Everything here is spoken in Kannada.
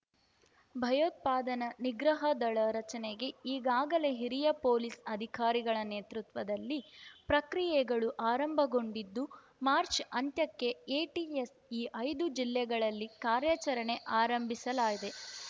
ಭಯೋತ್ಪಾದನೆ ನಿಗ್ರಹ ದಳ ರಚನೆಗೆ ಈಗಾಗಲೇ ಹಿರಿಯ ಪೊಲೀಸ್ ಅಧಿಕಾರಿಗಳ ನೇತೃತ್ವದಲ್ಲಿ ಪ್ರಕ್ರಿಯೆಗಳು ಆರಂಭಗೊಂಡಿದ್ದು ಮಾರ್ಚ್ ಅಂತ್ಯಕ್ಕೆ ಎಟಿಎಸ್ ಈ ಐದು ಜಿಲ್ಲೆಗಳಲ್ಲಿ ಕಾರ್ಯಚರಣೆ ಆರಂಭಿಸಲಾಯಿದೆ